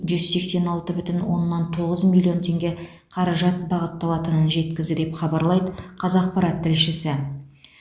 жүз сексен алты бүтін оннан тоғыз миллион теңге қаражат бағытталатынын жеткізді деп хабарлайды қазақпарат тілшісі